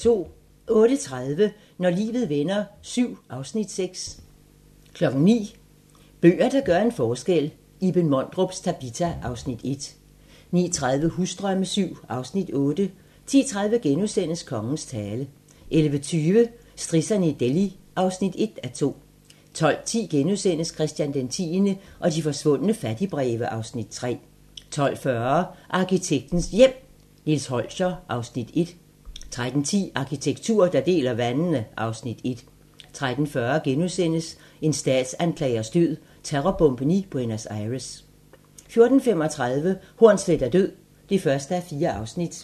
08:30: Når livet vender VII (Afs. 6) 09:00: Bøger, der gør en forskel - Iben Mondrups "Tabita" (Afs. 1) 09:30: Husdrømme VII (Afs. 8) 10:30: Kongens tale * 11:20: Strisserne i Delhi (1:2) 12:10: Christian X og de forsvundne fattigbreve (Afs. 3)* 12:40: Arkitektens Hjem: Nils Holscher (Afs. 1) 13:10: Arkitektur, der deler vandene (Afs. 1) 13:40: En statsanklagers død: Terrorbomben i Buenos Aires * 14:35: Hornsleth er død (1:4)